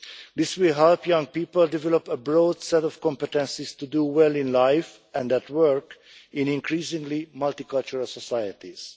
This will help young people develop a broad set of competences to do well in life and at work in increasingly multicultural societies.